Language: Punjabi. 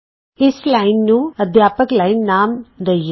ਇਸ ਲਾਈਨ ਨੂੰ ਅਧਿਆਪਕ ਲਾਈਨ ਨਾਮ ਦਈਏ